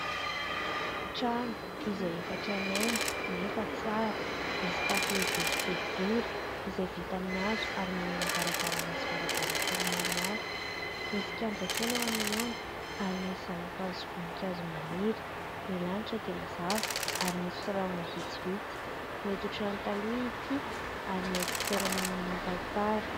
Trano izay efa tranainy nefa tsara. Misy tafo lehibe sy boribory izay vita amin'ny hazo ary manana varavarana sy varavarankely maromaro. Misy kianja kely eo anoloany ary misy zana-kazo sy voninkazo maniry. Ny lanitra dia mazava ary misy rahona vitsivitsy. Mety ho trano taloha ity ary mety toerana manan-tantara.